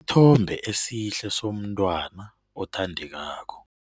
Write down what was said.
Isithombe esihle somntwana othandekako.